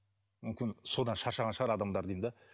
мүмкін содан шаршаған шығар адамдар деймін де